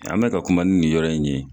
An be ka kuma ni nin yɔrɔ in ye